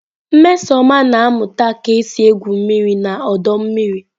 Nmesoma na-amuta ka esi egwu mmiri n'ọdọ mmiri.